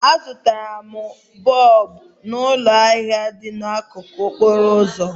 M zụtara bọlbụ n'ụlọ ahịa dị n'akụkụ okporo ụzọ